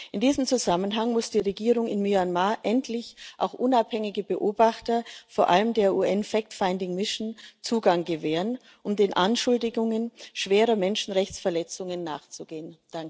In diesem Zusammenhang muss die Regierung in Myanmar endlich auch unabhängigen Beobachtern, vor allem der UN fact finding mission Zugang gewähren, um den Anschuldigungen schwerer Menschenrechtsverletzungen nachzugehen.